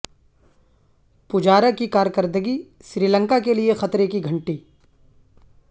پجارا کی کارکردگی سری لنکا کےلئے خطرے کی گھنٹی